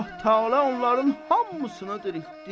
Allah təala onların hamısını diriltdi.